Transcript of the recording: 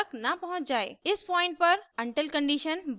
इस पॉइंट पर until condition बंद हो जाएगी